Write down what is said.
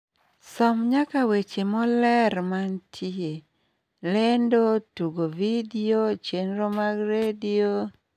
som nyaka weche moler mantie ,lendo tugo vidio chenro mag redio lendo tugo vidio